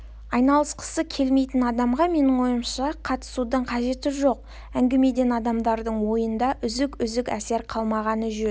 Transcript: айналысқысы келмейтін адамға менің ойымша қатысудың қажеті жоқ әңгімеден адамдардың ойында үзік-үзік әсер қалмағаны жөн